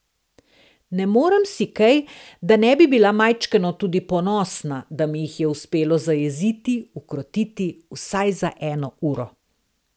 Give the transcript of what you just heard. Ne morem si kaj, da ne bi bila majčkeno tudi ponosna, da mi jih je uspelo zajeziti, ukrotiti, vsaj za eno uro.